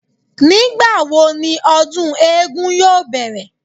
Nígbàwo ni ọdún eégún yóò bẹ̀rẹ̀?